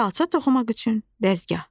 Xalça toxumaq üçün dəzgah.